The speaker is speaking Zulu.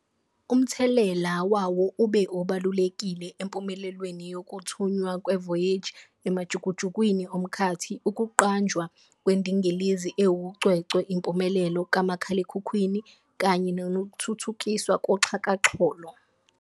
Umthelela wawo ube obalulekile empumelelweni yokuthunywa kwe-Voyager emajukujukwini omkhathi, ukuqanjwa kwendingilizi ewucwecwe, impumelelo kamakhalekhukhwini kanye nokuthuthukiswa koxhakaxholo.